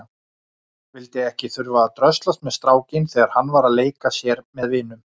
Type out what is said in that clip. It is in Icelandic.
Vildi ekki þurfa að dröslast með strákinn þegar hann var að leika sér með vinum.